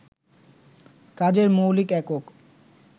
কাজের মৌলিক একক